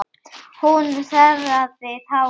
Hún þerraði tárin.